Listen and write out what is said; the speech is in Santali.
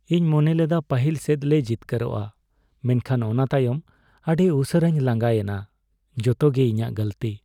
ᱤᱧ ᱢᱚᱱᱮ ᱞᱮᱫᱟ ᱯᱟᱹᱦᱤᱞ ᱥᱮᱴᱞᱮ ᱡᱤᱛᱠᱟᱹᱨᱚᱜᱼᱟ, ᱢᱮᱱᱠᱷᱟᱱ ᱚᱱᱟ ᱛᱟᱭᱚᱢ ᱟᱹᱰᱤ ᱩᱥᱟᱹᱨᱟᱧ ᱞᱟᱸᱜᱟᱭᱮᱱᱟ ᱾ ᱡᱚᱛᱚᱜᱮ ᱤᱧᱟᱜ ᱜᱟᱹᱞᱛᱤ ᱾